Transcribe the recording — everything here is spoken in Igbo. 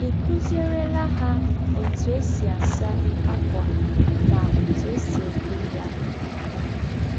Ị̀ kụzierela ha ọtụ e si asa ákwà na ọtụ e si ede ya?